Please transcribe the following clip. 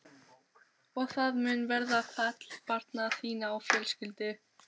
Og það mun verða fall barna þinna og fjölskyldu.